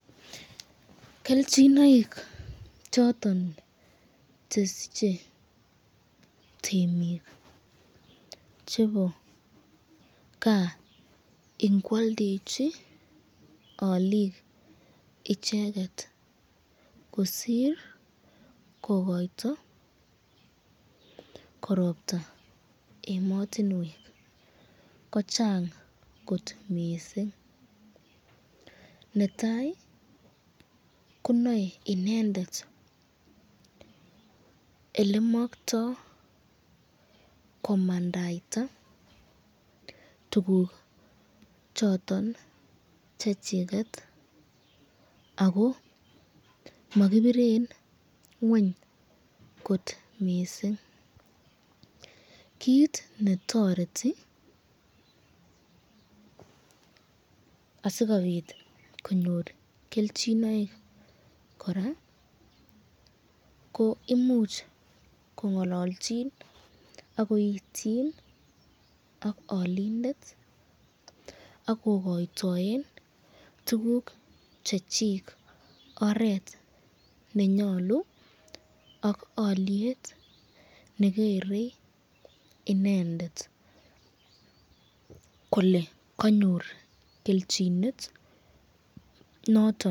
Kelchinoik choton chesiche temik chebo kas inoaldechi bik icheket kosir kokoiyto korobta ematinwek, ko chang kot mising, netai ko nae inendet rlemakto komangayta tukuk choton chechiket ako makibiren ngweny kot mising, kit netoreti asikobit konyor kelchinoik koraa ko imuch ko ngalalchin akoityin ak alindet akokoytoen tukuk Chechik oret nenyalu ak alyet negeren inendet kole kanyor kelchinet noton.